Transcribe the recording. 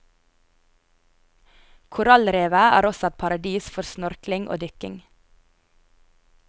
Korallrevet er også et paradis for snorkling og dykking.